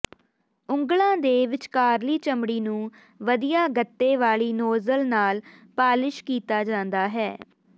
ਉਂਗਲਾਂ ਦੇ ਵਿਚਕਾਰਲੀ ਚਮੜੀ ਨੂੰ ਵਧੀਆ ਗੱਤੇ ਵਾਲੀ ਨੋਜਲ ਨਾਲ ਪਾਲਿਸ਼ ਕੀਤੀ ਜਾਂਦੀ ਹੈ